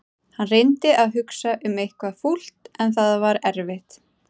Hann reyndi að hugsa um eitthvað fúlt en það var erfitt.